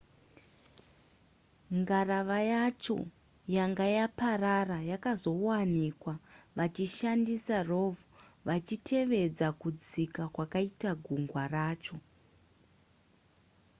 ngarava yacho yanga yaparara yakazowanikwa vachishandisa rov vachitevedza kudzika kwakaita gungwa racho